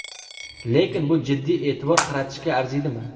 Lekin bu jiddiy e’tibor qaratishga arziydimi?